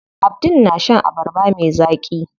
Abdul na shan abarba me zaƙi.